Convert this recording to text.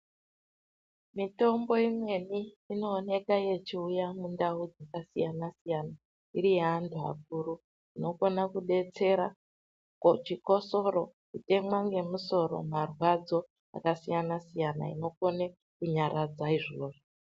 Mitombo imweni inooneka yechiuya mundau dzakasiyana-siyana, iri yaeanthu akuru. Inokona kudetsera, kuchikosoro ,kutemwa ngemusoro, marwadzo, akasiyana siyana. Inokone kunyaradza izvozvo.